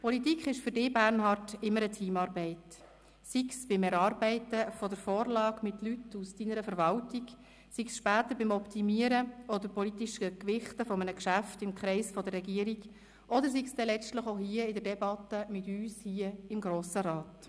Politik war für dich, Bernhard, immer eine Teamarbeit, sei es beim Erarbeiten der Vorlage mit Leuten aus deiner Verwaltung, sei es später beim Optimieren oder politisch Gewichten eines Geschäfts im Kreis der Regierung oder sei es letztlich auch in der Debatte mit uns hier im Grossen Rat.